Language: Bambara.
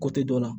Ko te dɔ la